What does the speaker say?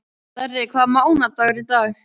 Darri, hvaða mánaðardagur er í dag?